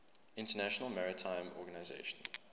international maritime organization